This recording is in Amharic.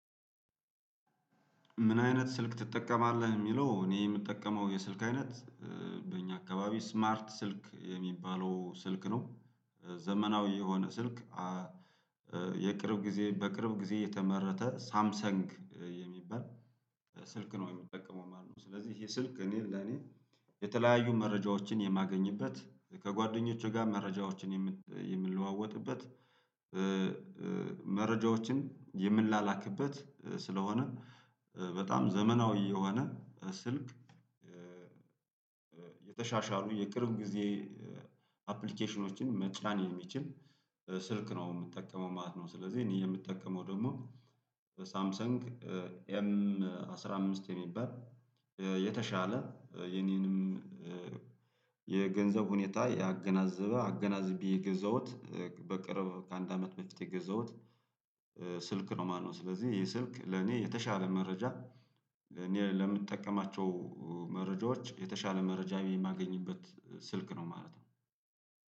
ምን አይነት ስልክ ትጠቀማለህ? የሚለው እኔ የምጠቀመው የስልክ አይነት። በእኛ አካባቢ ስማርት ስልክ የሚባለው ስልክ ነው። ዘመናዊ የሆነ ስልክ። የቅርብ ጊዜ በቅርብ ጊዜ የተመረተ ሳምሰንግ የሚባል ስልክ ነው የሚጠቀመው ማለት ነው። ስለዚህ ይሄ ስልክ እኔ ለኔ የተለያዩ መረጃዎችን የማገኝበት ከጓደኞቼ ጋር መረጃዎችን የምንለዋወጥበት። መረጃዎችን የምንላላክበት ስለሆነ በጣም ዘመናዊ የሆነ ስልክ። የተሻሻሉ የቅርብ ጊዜ አፕሊኬሽኖችን መጫን የሚችል ስልክ ነው የምትጠቀመው ማለት ነው። ስለዚህ እኔ የምጠቀመው ደግሞ ሳምሰንግ ኤም አስራ አምስት የሚባል የተሻለ የኔንም የገንዘብ ሁኔታ ያገናዘበ አገናዝቤ የገዛሁት። በቅርብ ከአንድ አመት መፍትሄ ገዛሁት ስልክ ነው ማለት ነው። ስለዚህ ይሄ ስልክ ለኔ የተሻለ መረጃ እኔ ለምጠቀማቸው መረጃዎች የተሻለ መረጃ የማገኝበት ስልክ ነው ማለት ነው